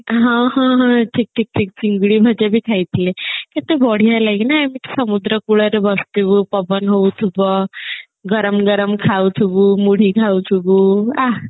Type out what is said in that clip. ହ ହଁ ହଁ ଠିକ ଠିକ ଠିକ ଚିଙ୍ଗୁଡି ଭଜା ବି ଖାଇ ଥିଲେ କେତେ ବଢିଆ ହେଲା କି ନା ସମୁଦ୍ର କୂଳରେ ବସିଥିବୁ ପବନ ହଉଥିବ ଗରମ ଗରମ ଖାଉଥିବୁ ମୁଢି ଖାଉଥିବୁ ଆଃ